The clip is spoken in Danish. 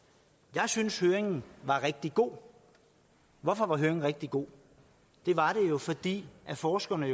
jeg synes høringen var rigtig god hvorfor var høringen rigtig god det var den jo fordi forskerne